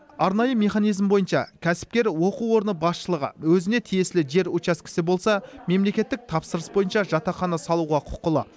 арнайы механизм бойынша кәсіпкер оқу орны басшылығы өзіне тиесілі жер учаскесі болса мемлекеттік тапсырыс бойынша жатақхана салуға құқылы